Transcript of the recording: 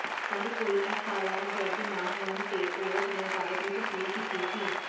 ਪਰ ਕੋਈ ਐਫਆਈਆਰ ਦਰਜ ਨਾ ਹੋਣ ਤੇ ਔਰਤ ਨੇ ਅਦਾਲਤ ਵਿੱਚ ਅਪੀਲ ਕੀਤੀ ਸੀ